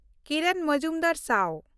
ᱠᱤᱨᱚᱱ ᱢᱚᱡᱩᱢᱫᱟᱨ-ᱥᱟᱣ